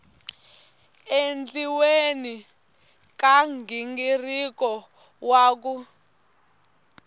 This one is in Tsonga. endliweni ka nghingiriko wa ku